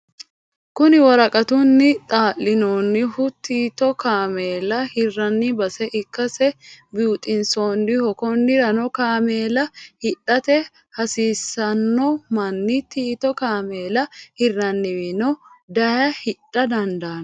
Kuni woraqatunni xa'linonihu tito kaamella hiranni base ikkase biuxisiisanoho, konirano kaamella hidhate hasiranno mani tito kaameella hiraniwiini daye hidha dandano